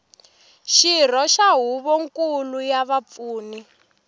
xirho xa huvonkulu ya vapfuni